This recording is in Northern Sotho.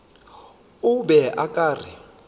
o be o ka re